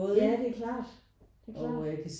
Ja det er klart det er klart